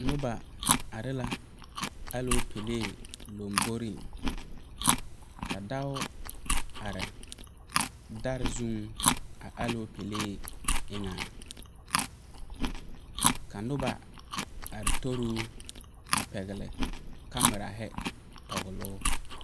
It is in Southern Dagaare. Noba are la alɔɔpele lamboriŋ, ka dɔɔ are dar zuŋ a alɔɔpele eŋɛ, ka noba are toruu a pɛgeli kamera a toɔle o.